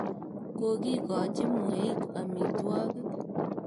Kokikochi mweik amitwogik.